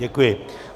Děkuji.